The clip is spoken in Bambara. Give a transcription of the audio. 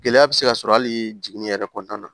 Gɛlɛya bɛ se ka sɔrɔ hali jiginni yɛrɛ kɔnɔna na